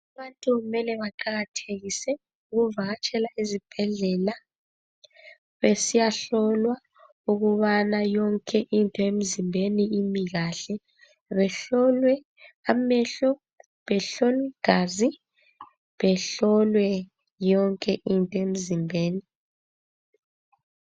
Abantu kumele baqakathekise ukuvakatshela ezibhedlela besiyahlolwa ukubana yonke into emzimbeni imi kahle. Behlolwe amehlo ,behlolwe igazi, behlolwe yonke into emzimbeni.